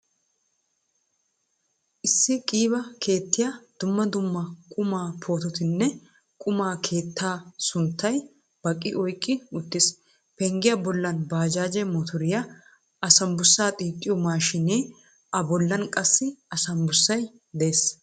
Issi qiiba keettiyaa dumma dumma qumaa poototinne qumma keettee sunttay baqqi oyqqi uttiis. penggiyaa bollan bajaje motoriyaa, asanbussa xiixxiyo mashinee, a bollan qassi asanbussay de'ees.